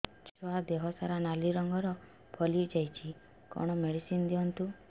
ଛୁଆ ଦେହ ସାରା ନାଲି ରଙ୍ଗର ଫଳି ଯାଇଛି କଣ ମେଡିସିନ ଦିଅନ୍ତୁ